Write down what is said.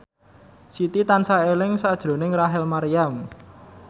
Siti tansah eling sakjroning Rachel Maryam